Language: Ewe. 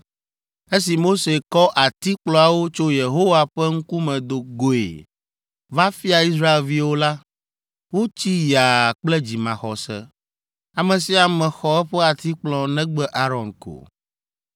Esi Mose kɔ atikplɔawo tso Yehowa ƒe ŋkume do goe va fia Israelviwo la, wotsi yaa kple dzimaxɔse! Ame sia ame xɔ eƒe atikplɔ negbe Aron ko.